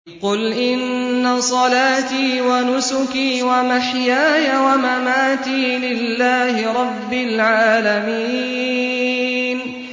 قُلْ إِنَّ صَلَاتِي وَنُسُكِي وَمَحْيَايَ وَمَمَاتِي لِلَّهِ رَبِّ الْعَالَمِينَ